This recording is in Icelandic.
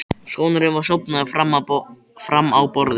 Sonurinn var sofnaður fram á borðið.